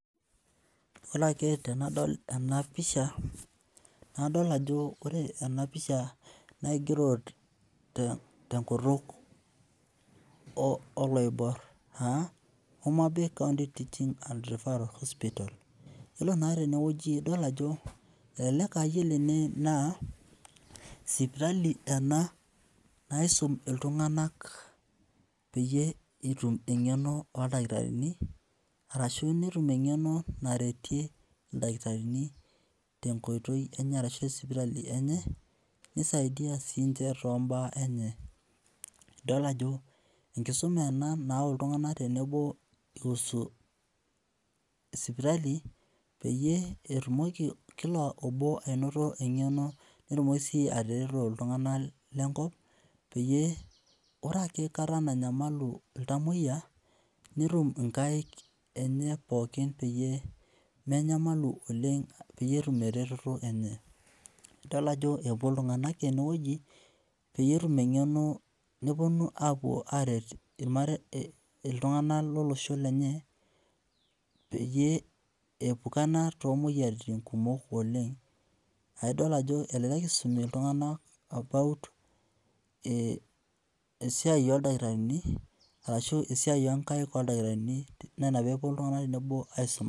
Ore ake tenadol enapisha, nadol ajo ore enapisha nakigero tenkutuk oloibor, ah Homabay county teaching and referral hospital. Yiolo naa tenewueji idol ajo elelek ah yiolo ene naa, sipitali ena naisum iltung'anak peyie etum eng'eno oldakitarini, arashu netum eng'eno naretie ildakitarini tenkoitoi enye arashu sipitali enye, nisaidia sinche tombaa enye. Idol ajo enkisuma ena nau iltung'anak tenebo i husu sipitali, peyie etumoki kila obo ainoto eng'eno netumoki si atareto iltung'anak lenkop, peyie ore ake kata nanyamalu iltamoyia, netum inkaik enye pookin peyie menyamalu oleng peyie etum ereteto enye. Idol ajo epuo iltung'anak enewoji, peyie etum eng'eno neponu apuo aret iltung'anak lolosho lenye, peyie eepukana tomoyiaritin kumok oleng. Ah idol ajo elelek isumi iltung'anak about esiai oldakitarini, arashu esiai onkaik oldakitarini, naa ina peepuo iltung'anak tenebo aisuma.